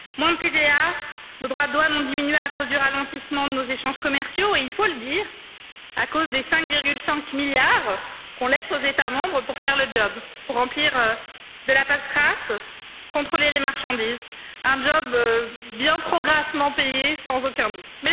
Moins de TVA, nos droits douanes ont diminué à cause du ralentissement de nos échanges commerciaux et, il faut le dire, à cause des 5,5 milliards que nous laissons aux États membres pour faire le job, pour remplir de la paperasse, contrôler les marchandises, un job bien trop grassement payé, sans aucun doute.